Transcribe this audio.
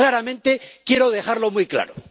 Claramente, quiero dejarlo muy claro.